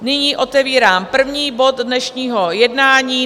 Nyní otevírám první bod dnešního jednání